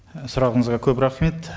і сұрағыңызға көп рахмет